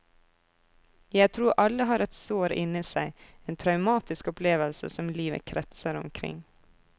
Jeg tror alle har et sår inni seg, en traumatisk opplevelse som livet kretser omkring.